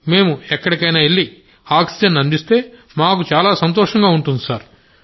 మేం ఎక్కడికైనా వెళ్లి ఆక్సిజన్ను అందిస్తే మాకు చాలా సంతోషంగా ఉంటుంది సార్